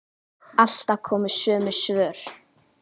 Alltaf komu sömu svör.